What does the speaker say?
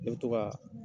Ne bɛ to ka